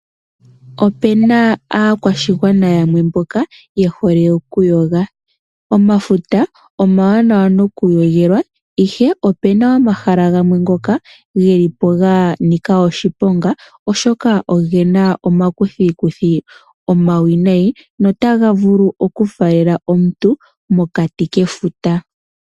Ope na aakwashigwana yamwe mboka ye hole oku yoga, omafuta omawanawa noku yo gela ihe ope na omahala gamwe ngoka geli po ga nika oshiponga oshoka oge na omakuthikuthi omawinayi notaga vulu oku falela omuntu mokati kefuta.